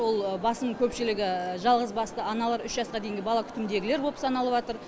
ол басым көпшілігі жалғызбасты аналар үш жасқа дейінгі бала күтіміндегілер боп саналып жатыр